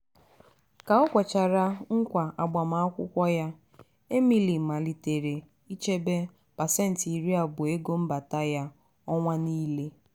ka o kwechara nkwa agbamakwukwọ ya emily malitere ichebe pasenti iri abụọ ego mbata ya ọnwa niile.